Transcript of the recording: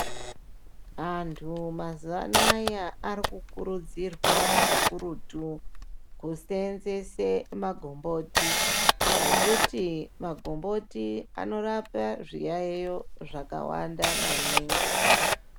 Antu muzawanaya arikukurudzirwa kakurutu kuseenzese ma gomboti ngekuti magomboti anorapa zviyayeyo zvakawanda maningi.